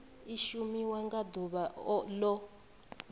i shumiwa nga ḓuvha o